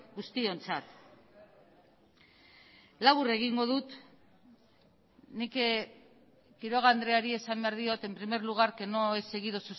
guztiontzat labur egingo dut nik quiroga andreari esan behar diot en primer lugar que no he seguido